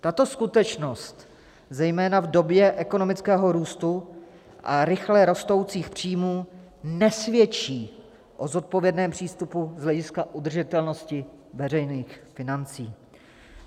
- Tato skutečnost zejména v době ekonomického růstu a rychle rostoucích příjmů nesvědčí o zodpovědném přístupu z hlediska udržitelnosti veřejných financí.